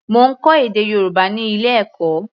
Mo ń kọ́ èdè Yorùbá ní ilé-ẹ̀kọ́.